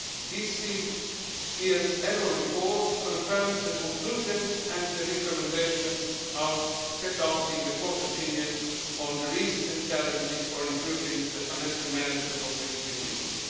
This year's annual report confirms the conclusions and the recommendations set out in the Court opinion on the risks and challenges for improving the financial management of the European Union.